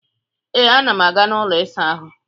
Ee, ana m aga n'ụlọ ịsaahụ